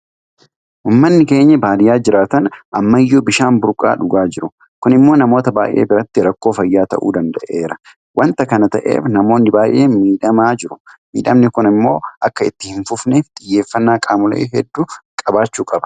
Uummanni keenya baadiyyaa jiraatan ammayyuu bishaan burqaa dhugaa jiru. Kun immoo namoota baay'ee biratti rakkoo fayyaa ta'uu danda'eeran. Waanta kana ta'eef namoonni baay'een miidhamaa jiru. Miidhamni kun immoo akka itti hinfufneef xiyyeeffannaa qaamolee hedduu qabaachuu qaba.